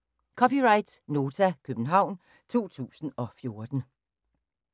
(c) Nota, København 2014